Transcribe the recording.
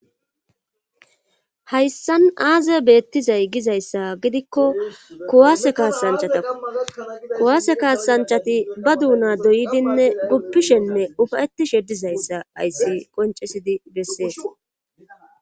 Hayssan aaze beettizay gizayssa gidikko kuwaase kaasanchatakko kuwaase kaasanchati ba duuna dooyidinne guppishenne ufeyettishe dizayssa hayssi qonccisidi bessees.